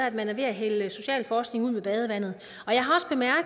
at man er ved at hælde socialforskningen ud med badevandet